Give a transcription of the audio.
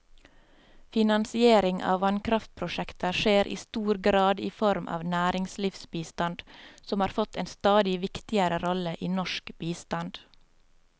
Finansiering av vannkraftprosjekter skjer i stor grad i form av næringslivsbistand, som har fått en stadig viktigere rolle i norsk bistand.